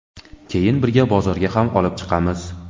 Keyin birga bozorga ham olib chiqamiz.